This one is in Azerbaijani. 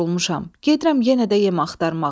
Gedirəm yenə də yem axtarmağa.